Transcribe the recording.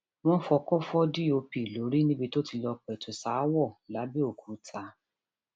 wọn fọkọ fọ dọp lórí níbi tó ti lọọ pẹtù ṣaáwọ lápbẹòkúta